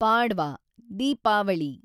Padwa , Deepavali